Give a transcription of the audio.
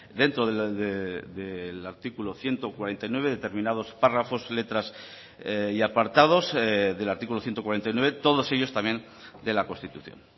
dentro del artículo ciento cuarenta y nueve determinados párrafos letras y apartados del artículo ciento cuarenta y nueve todos ellos también de la constitución